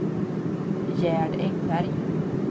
Gerd Engberg